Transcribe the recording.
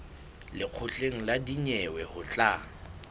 lekgotleng la dinyewe ho tla